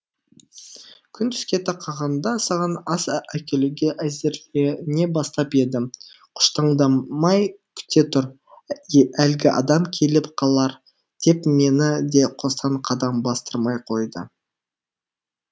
күн түске тақағанда саған ас әкелуге әзірлене бастап едім тұштаңдамай күте тұр әлгі адам келіп қалар деп мені де қостан қадам бастырмай қойды